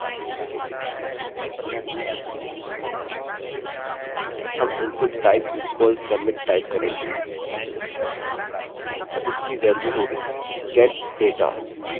हम input type equals submit type करेंगे और इसकी valueवैल्यूहोगी get data